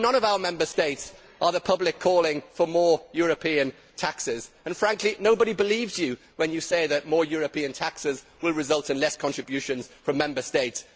In none of our Member States are the public calling for more European taxes and, frankly, nobody believes you when you say that more European taxes will result in fewer contributions from Member States.